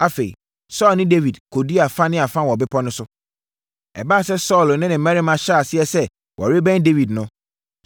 Afei Saulo ne Dawid kɔdii afa ne afa wɔ bepɔ no so. Ɛbaa sɛ Saulo ne ne mmarima hyɛɛ aseɛ sɛ wɔrebɛn Dawid no,